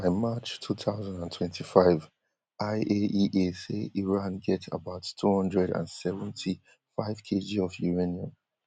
by march two thousand and twenty-five IAEA say iran get about two hundred and seventy-five kg of uranium